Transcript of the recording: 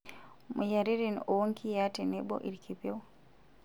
Moyiaritin oonkiyiaa tenebo ilkipieu.